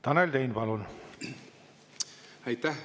Tanel Tein, palun!